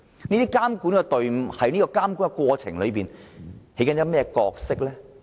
這組監管隊伍在監管過程中扮演甚麼角色？